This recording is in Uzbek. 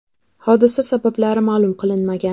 Hodisa sabablari ma’lum qilinmagan.